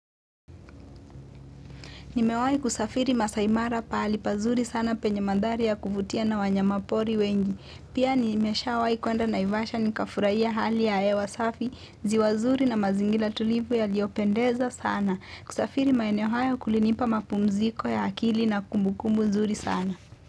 Nimewai kusafiri masaimara pahali pazuri sana penye maandhari ya kuvutia na wanyamapori wengi. Pia nimeshawai kuenda naivasha nikafuraia hali ya ewa safi, ziwa zuri na mazingira tulivu yaliopendeza sana. Kusafiri maeneo haya kulinipa mapumziko ya akili na kumbukumbu zuri sana.